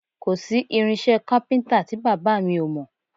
Kò sí irinṣẹ́ kápíntà tí bàbá mi ò mọ̀